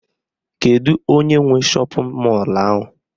Kedu onye nwe shọpịn mọlụ ahụ?